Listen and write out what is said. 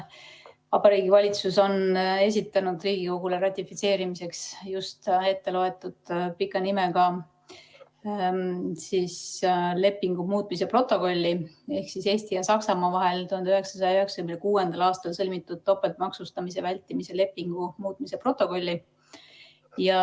Vabariigi Valitsus on esitanud Riigikogule ratifitseerimiseks just etteloetud pika nimega lepingu muutmise protokolli ehk Eesti ja Saksamaa vahel 1996. aastal sõlmitud topeltmaksustamise vältimise lepingu muutmise protokolli.